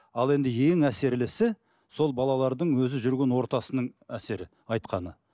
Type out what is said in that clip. ал енді ең әсерлісі сол балалардың өзі жүрген ортасының әсері айтқаны